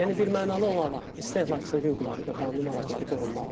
Yəni birmənalı olaraq istehlakçının hüquqları və qanun maraqları qorunmalıdır.